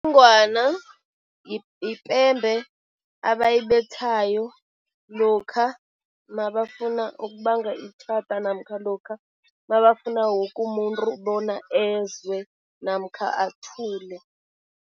yipembe abayibethayo lokha nabafuna ukubanga itjhada namkha lokha nabafuna woke umuntu bona ezwe namkha athule.